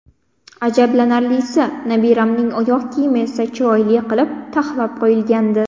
Ajablanarlisi, nabiramning oyoq kiyimi esa chiroyli qilib, taxlab qo‘yilgandi.